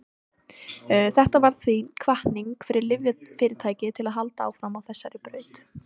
þetta varð því hvatning fyrir lyfjafyrirtæki til að halda áfram á þessari braut